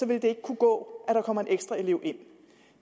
vil det ikke kunne gå at der kommer en ekstra elev ind